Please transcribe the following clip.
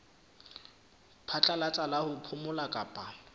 phatlalatsa la ho phomola kapa